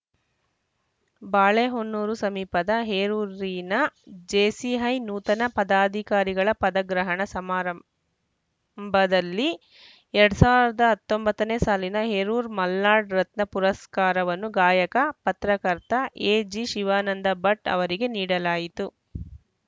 ಬಾಳೆಹೊನ್ನೂರು ಸಮೀಪದ ಹೇರೂರಿನ ಜೇಸಿಐ ನೂತನ ಪದಾಧಿಕಾರಿಗಳ ಪದಗ್ರಹಣ ಸಮಾರಂಭದಲ್ಲಿ ಎರಡ್ ಸಾವಿರದ ಹತ್ತೊಂಬತ್ತನೇ ಸಾಲಿನ ಹೇರೂರು ಮಲ್ನಾಡ್‌ ರತ್ನ ಪುರಸ್ಕಾರವನ್ನು ಗಾಯಕ ಪತ್ರಕರ್ತ ಎಜಿ ಶಿವಾನಂದ ಭಟ್‌ ಅವರಿಗೆ ನೀಡಲಾಯಿತು